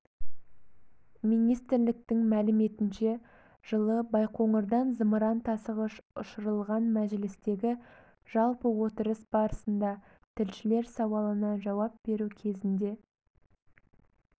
министрліктің мәліметінше жылы байқоңырдан зымыран тасығыш ұшырылған мәжілістегі жалпы отырыс барысында тілшілер сауалына жауап беру кезінде